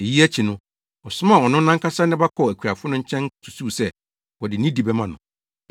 Eyi akyi no ɔsomaa ɔno nʼankasa ne ba kɔɔ akuafo no nkyɛn susuwii sɛ, wɔde nidi bɛma no.